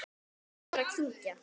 Og verður að kyngja.